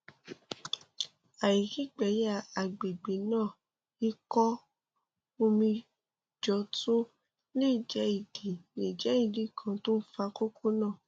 àìrígbẹyà àgbègbè náà ìkó omi jọ tún lè jẹ ìdí lè jẹ ìdí kan tó ń fa kókó náà